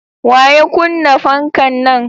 Waya kunna fankan nan?